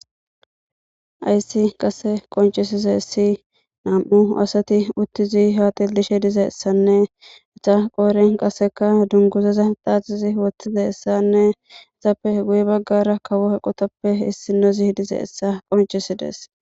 Haysi qase qonc'isizaysi nam'u asati utizi ha xelishe dizaysan eta qoreni qaseka dunguzaza dhadhizi wodhizaysanne etape guye bagara kawo eqotape issinozi dizaysa qonc'ises.